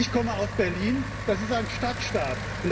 Ich komme aus Berlin, das ist ein Stadtstaat.